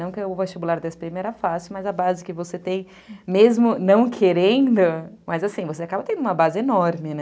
Não que o vestibular da esse pê eme era fácil, mas a base que você tem, mesmo não querendo, mas assim, você acaba tendo uma base enorme, né?